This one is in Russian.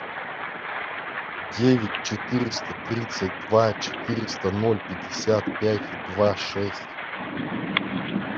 девять четыреста тридцать два четыреста ноль пятьдесят пять два шесть